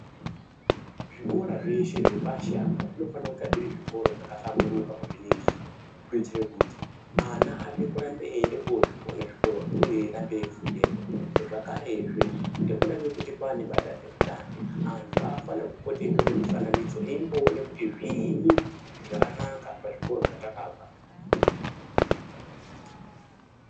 Zvikora zveshe zve pashi apa zvinofana kunga zviri zvikora zvaka hlamburuka kuzvi ningira kuitire kuti ana ade kurambe eyinde kozvione zvikoro zvo eyi ende uye eyi rambe eyi fundepo zvakare zve ngekuda kwekuti kwane ma dande mutande antu afane kupote eyi tore mufananidzo eimbo one kuti zvinyi zvakanaka pa zvikoro zvatakabva.